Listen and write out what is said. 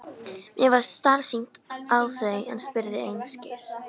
Mér varð starsýnt á þau en spurði einskis.